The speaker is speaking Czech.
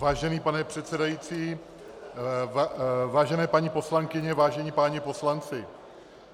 Vážený pane předsedající, vážené paní poslankyně, vážení páni poslanci.